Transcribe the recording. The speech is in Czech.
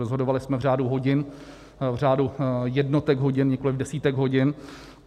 Rozhodovali jsme v řádu hodin, v řádu jednotek hodin, nikoliv desítek hodin.